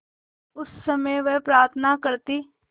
उस समय वह प्रार्थना करती